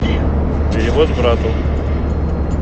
перевод брату